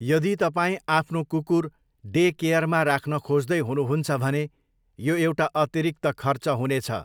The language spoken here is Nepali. यदि तपाईँ आफ्नो कुकुर डेकेयरमा राख्न खोज्दै हुनुहुन्छ भने यो एउटा अतिरिक्त खर्च हुनेछ।